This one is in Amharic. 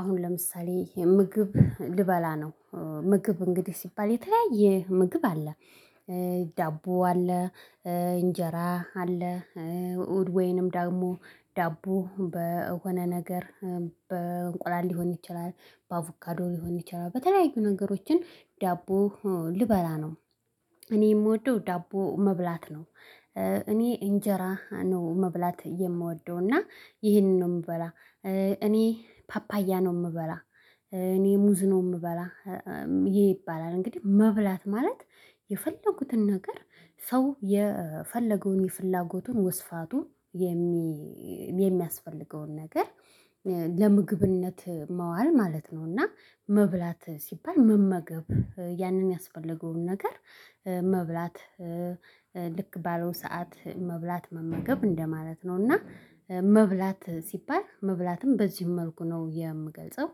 አሁን ለምሳሌ ምግብ ልበላ ነው። ምግብ እንግዲህ ሲባል የተለያየ ምግብ አለ። ዳቦ አለ። እንጀራ አለ። ወይንም ዳቦ በሆነ ነገር በእንቁላል ሊሆን ይችላል በአቮካዶ ሊሆን ይችላል በተለያዩ ነገሮችን ዳቦ ልበላ ነው። እኔ የምወደው ዳቦ መብላት ነው። እኔ እንጀራ ነው መብላት ምወደው እና ይሄንን ነው የምበላ። እኔ ፓፓያ ነው ምበላ። እኔ ሙዝ ነው ምበላ። ይባላል እንግዲህ መብላት ማለት የፈለጉትን ነገር ሰው የፈለገውን የፍላጎቱን ወስፋቱን የሚያስፈልገውን ነገር ለምግብነት መዋል ማለት ነው። እና መብላት ሲባል መመገብ ያንን ያስፈልገውን ነገር መብላት ልክ ባለው ሰዓት መብላት መመገብ እንደማለት ነው። እና መብላት ሲባል መብላትም በዚህ መልኩ ነው የምገልጸው